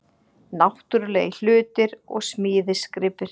Náttúrulegir hlutir og smíðisgripir